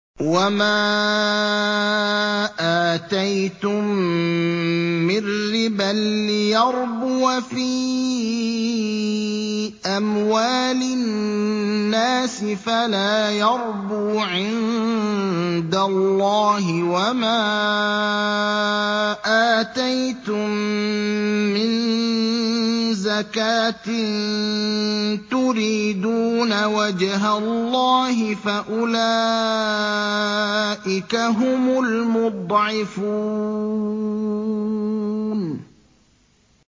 وَمَا آتَيْتُم مِّن رِّبًا لِّيَرْبُوَ فِي أَمْوَالِ النَّاسِ فَلَا يَرْبُو عِندَ اللَّهِ ۖ وَمَا آتَيْتُم مِّن زَكَاةٍ تُرِيدُونَ وَجْهَ اللَّهِ فَأُولَٰئِكَ هُمُ الْمُضْعِفُونَ